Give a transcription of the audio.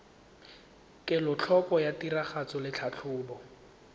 kelotlhoko ya tiragatso le tlhatlhobo